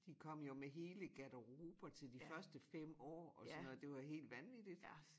De kom jo med hele garderober til de første 5 år og sådan noget det var helt vanvittigt